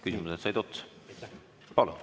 Küsimused said otsa.